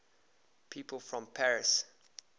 people from paris